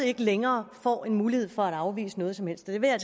ikke længere får mulighed for at afvise noget som helst og det vil jeg